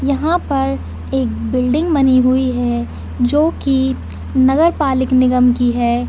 यहाँ पर एक बिल्डिंग बनी हुई है जो की नगर पालिक निगम की है।